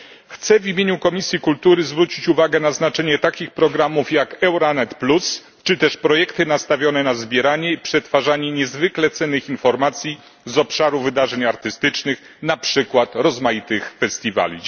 Chcę w imieniu Komisji Kultury zwrócić uwagę na znaczenie takich programów jak Euranet plus czy też projektów nastawionych na zbieranie i przetwarzanie niezwykle cennych informacji dotyczących wydarzeń artystycznych, na przykład rozmaitych festiwali.